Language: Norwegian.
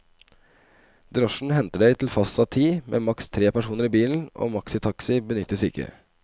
Drosjen henter deg til fastsatt tid, med maks tre personer i bilen, og maxitaxi benyttes ikke.